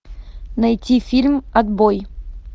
найти фильм отбой